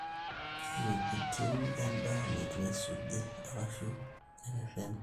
Wuejikitin endaa neitu eisuji arashu kerereni.